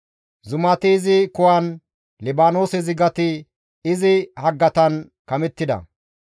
Zumati izi kuwan, Libaanoose zigati izi haggatan kamettida.